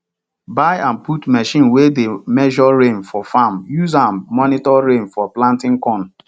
buy and put machine wey dey measure rain for farm use am monitor rain for planting corn